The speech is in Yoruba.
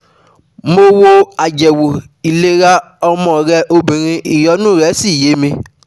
Mo wo àyẹ̀wò ìlera ọmọ rẹ obìnrin ìyọnu rẹ́ sì yé mi